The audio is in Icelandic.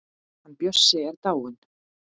Hann Bjössi er dáinn.